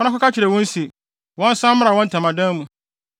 “Kɔ na kɔka kyerɛ wɔn se, wɔnsan mmra wɔn ntamadan mu.